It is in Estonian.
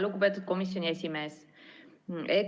Lugupeetud komisjoni esimees!